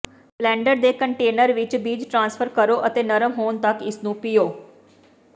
blender ਦੇ container ਵਿੱਚ ਬੀਜ ਟ੍ਰਾਂਸਫਰ ਕਰੋ ਅਤੇ ਨਰਮ ਹੋਣ ਤੱਕ ਇਸਨੂੰ ਪੀਹੋਂ